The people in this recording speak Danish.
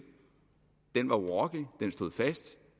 var urokkelig den stod fast